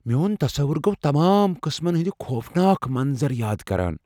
میون تصوٗر گو تمام قٕسمن ہندِ خوفناك منظر یاد كران ۔